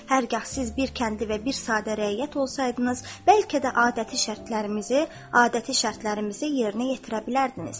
Hərgah siz bir kəndli və bir sadə rəiyyət olsaydınız, bəlkə də adəti şərtlərimizi yerinə yetirə bilərdiniz.